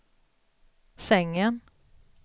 sängen